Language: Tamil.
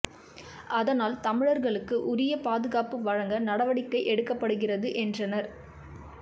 அதனால் தமிழர்களுக்கு உரிய பாதுகாப்பு வழங்க நடவடிக்கை எடுக்கப்படுகிறது என்றனர்